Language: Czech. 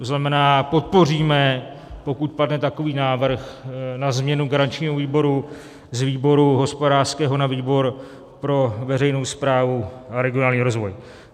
To znamená, podpoříme, pokud padne, takový návrh na změnu garančního výboru z výboru hospodářského na výbor pro veřejnou správu a regionální rozvoj.